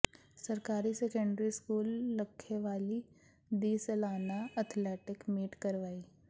ਸਰਕਾਰੀ secondary school Lakhewali ਦੀ ਸਲਾਨਾ ਅਥਲੈਟਿਕ ਮੀਟ ਕਰਵਾਈ